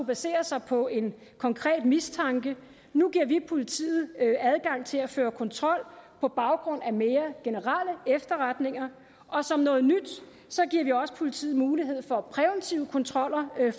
basere sig på en konkret mistanke nu giver vi politiet adgang til at føre kontrol på baggrund af mere generelle efterretninger og som noget nyt giver vi også politiet mulighed for præventive kontroller